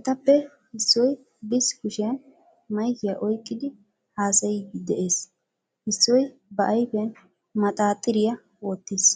Etappe issoy bs kushiyan maykkiya oyqidi haasayidi de'ees, issoy ba ayfiyan maxxaaxxiriya wottiis.